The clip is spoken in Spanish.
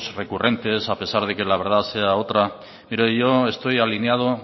recurrentes a pesar de que la verdad sea otra mire yo esto alineado